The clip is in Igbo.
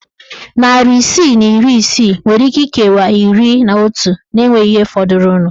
Narị isii na iri isii nwere íké ikewa iri na otu na enweghị ihe fọdụrụnụ.